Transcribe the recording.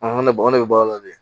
ne ba ne bɛ baara la dɛ